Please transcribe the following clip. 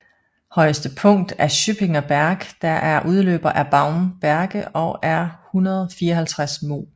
Højeste punkt er Schöppinger Berg der er en udløber af Baumberge og er 154 moh